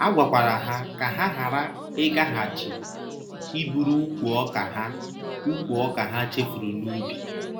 A gwakwara ha ka ha ghara ịgaghachi iburu ùkwù ọka ha ùkwù ọka ha chefuru n’ubi.